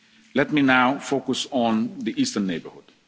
the pandemic. Let me now focus on the eastern